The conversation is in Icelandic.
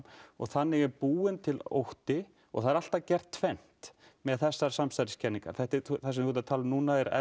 þannig er búin til ótti og það er alltaf gert tvennt með þessar samsæriskenningar það sem þú ert að tala um núna er